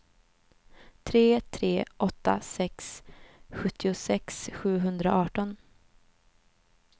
tre tre åtta sex sjuttiosex sjuhundraarton